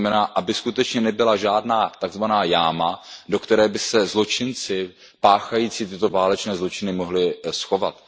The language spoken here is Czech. To znamená, aby skutečně nebyla žádná tak zvaná jáma, do které by se zločinci páchající tyto válečné zločiny mohli schovat.